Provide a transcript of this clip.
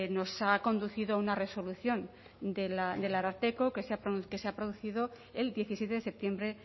nos ha conducido a una resolución del ararteko que se ha producido el diecisiete de septiembre